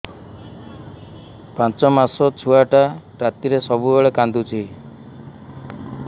ପାଞ୍ଚ ମାସ ଛୁଆଟା ରାତିରେ ସବୁବେଳେ କାନ୍ଦୁଚି